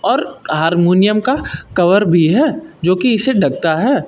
और हारमोनियम का कवर भी है जो कि इसे ढकता है।